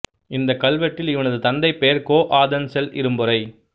இந்தக் கல்வெட்டில் இவனது தந்தைபெயர் கோ ஆதன் செல் இரும்பொறை